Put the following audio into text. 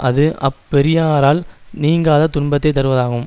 அது அப் பெரியாரால் நீங்காத துன்பத்தை தருவதாகும்